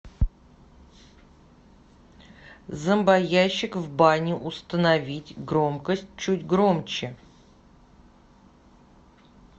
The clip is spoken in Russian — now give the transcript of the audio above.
зомбоящик в бане установить громкость чуть громче